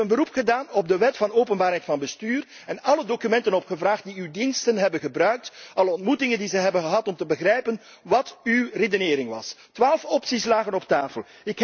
Ik heb een beroep gedaan op de Wet van openbaarheid van bestuur, heb alle documenten opgevraagd die uw diensten hebben gebruikt, en ben nagegaan welke ontmoetingen ze allemaal hebben gehad om te begrijpen wat uw redenering was. Twaalf opties lagen op tafel.